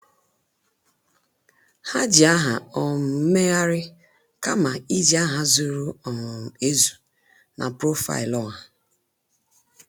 Ha ji aha um mmeghari kama iji aha zuru um ezu na profaịlụ ọha